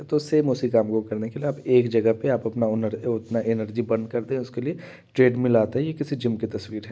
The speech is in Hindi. तो सेम उसी काम को करने लिए एक जगह पे आप अपना उनर एनर्जी बर्न कर दें उसके लिए ट्रेडमिल आता है ये किसी जिम की तस्वीर है।